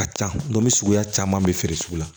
A ka ca ndome suguya caman bɛ feere sugu la